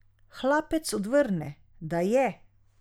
Hlapec odvrne, da je.